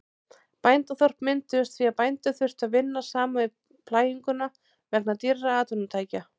Bændaþorp mynduðust því að bændur þurftu að vinna saman við plæginguna vegna dýrra atvinnutækja.